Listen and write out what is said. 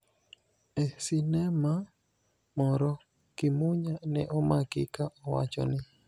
E sinema moro, Kimunya ne omaki ka owacho ni: